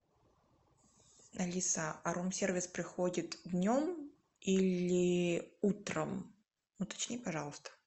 алиса а рум сервис приходит днем или утром уточни пожалуйста